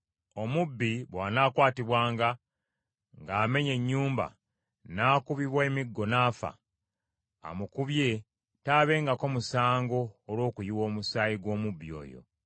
“Omubbi bw’anaakwatibwanga ng’amenya ennyumba, n’akubibwa emiggo n’afa; amukubye taabengako musango olw’okuyiwa omusaayi gw’omubbi oyo;